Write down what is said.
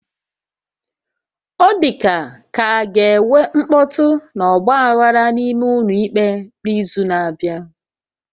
O dịka ka ọ ga-enwe mkpọtụ na ọgba aghara n'ime ụlọ ikpe n'izu na-abịa